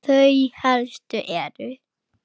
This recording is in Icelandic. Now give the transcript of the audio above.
Þau helstu eru